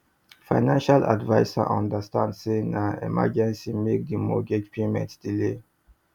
financial adviser understand say na emergency make di mortgage payment delay